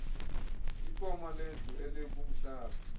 ipoma lendlu elikumhlaba